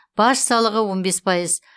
баж салығы он бес пайыз